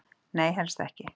Nei, helst ekki.